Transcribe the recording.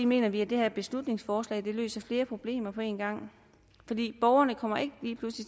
mener vi at det her beslutningsforslag løser flere problemer på én gang borgerne kommer ikke